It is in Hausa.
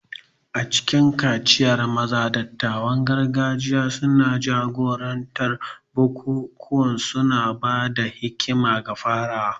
A cikin kaciyar maza, dattawan gargajiya suna jagorantar bukukuwa, suna ba da hikima ga farawa.